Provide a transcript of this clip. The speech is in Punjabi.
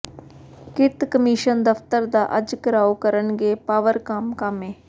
ਕਿਰਤ ਕਮਿਸ਼ਨ ਦਫ਼ਤਰ ਦਾ ਅੱਜ ਿਘਰਾਓ ਕਰਨਗੇ ਪਾਵਰਕਾਮ ਕਾਮੇ